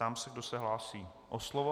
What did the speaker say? Ptám se, kdo se hlásí o slovo.